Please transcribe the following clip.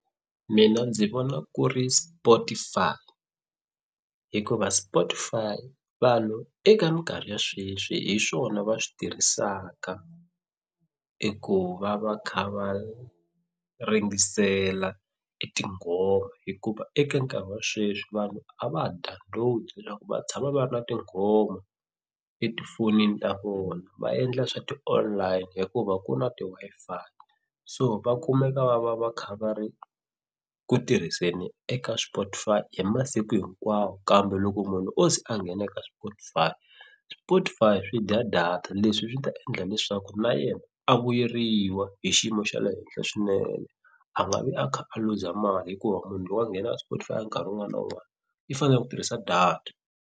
Mina ndzi vona ku ri Spotify hikuva Spotify vanhu eka minkarhi ya sweswi hi swona va swi tirhisaka i ku va va kha va ringesela e tinghoma hikuva eka nkarhi wa sweswi vanhu a va ha download loko va tshama va ri na tinghoma etifonini ta vona va endla swa ti-online hikuva ku na ti-Wi-Fi so va kumeka va va va kha va ri ku tirhiseni eka Spotify hi masiku hinkwawo kambe loko munhu o ze a nghena eka Spotify Spotify swi dya data leswi swi ta endla leswaku na yena a vuyeriwa hi xiyimo xa le henhla swinene a nga vi a kha a luza mali hikuva munhu loko a nghena Spotify ya nkarhi wun'wana na wun'wana i fanele ku tirhisa data.